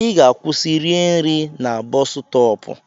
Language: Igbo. Ị ga-akwụsị rie nri na boosu stopu!